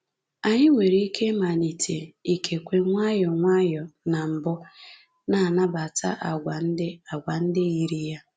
Anyị nwere ike ịmalite — ikekwe nwayọọ nwayọọ na mbụ — na-anabata àgwà ndị àgwà ndị yiri ya